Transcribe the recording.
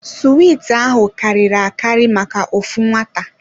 Suwiti ahụ karịrị akari maka ofu nwata.